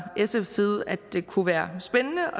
sfs side at det kunne være spændende